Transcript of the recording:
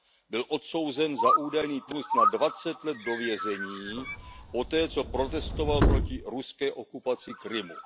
Byl odsouzen za údajný terorismus na dvacet let do vězení poté, co protestoval proti ruské okupaci Krymu.